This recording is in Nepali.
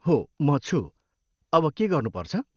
हो म छु। अब के गर्नुपर्छ ?